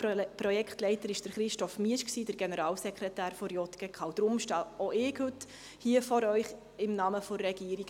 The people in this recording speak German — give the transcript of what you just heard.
Gesamtprojektleiter war Christoph Miesch, der Generalsekretär der JGK, und deshalb stehe auch heute hier vor Ihnen, im Namen der Regierung.